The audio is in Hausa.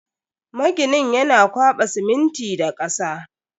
Maginin yana kwaba siminti da kasa.